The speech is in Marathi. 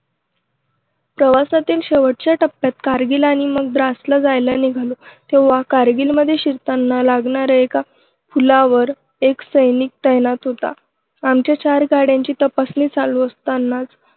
प्रवासातील शेवटच्या टप्प्यात कारगिल आणि मग द्रासला जायला निघालो. तेव्हा कारगिलमध्ये शिरताना लागणाऱ्या एका पुलावर एक सैनिक तैनात होता. आमच्या चार गाड्यांची तपासणी चालू असतानाच